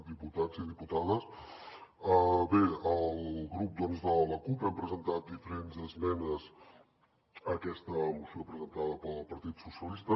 diputats i diputades bé el grup de la cup hem presentat diferents esmenes a aquesta moció presentada pel partit socialista